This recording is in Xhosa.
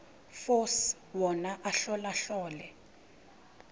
force wona ahlolahlole